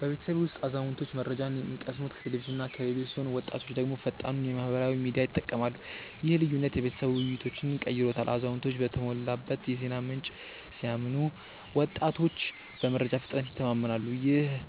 በቤተሰቤ ውስጥ አዛውንቶች መረጃን የሚቀስሙት ከቴሌቪዥንና ከራዲዮ ሲሆን ወጣቶች ደግሞ ፈጣኑን የማህበራዊ ሚዲያ ይጠቀማሉ። ይህ ልዩነት የቤተሰብ ውይይቶችን ቀይሮታል አዛውንቶች በተሞላበት የዜና ምንጭ ሲያምኑ ወጣቶች በመረጃ ፍጥነት ይተማመናሉ። ይህም